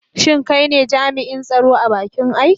Shin kai ne jami'in tsaro a bakin aiki?